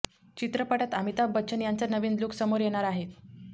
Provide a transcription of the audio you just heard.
चित्रपटात अमिताभ बच्चन यांचा नवीन लूक समोर येणार आहे